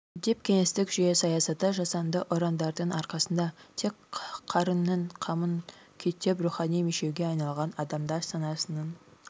деп кеңестік жүйе саясаты жасанды ұрандардың арқасында тек қарынның қамын күйттеп рухани мешеуге айналған адамдар санасының